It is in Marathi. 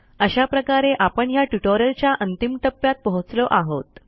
अशा प्रकारे आपण ह्या ट्युटोरियलच्या अंतिम टप्प्यात पोहोचलो आहोत